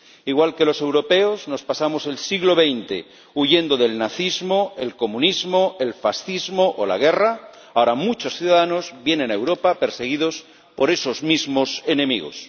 Igual que los europeos nos pasamos el siglo XX huyendo del nazismo, el comunismo, el fascismo o la guerra, ahora muchos ciudadanos vienen a Europa perseguidos por esos mismos enemigos.